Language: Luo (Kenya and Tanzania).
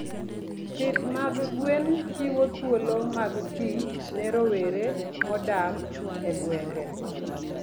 Pith mag gwen chiwo thuolo mag tich ne rowere modak e gwenge.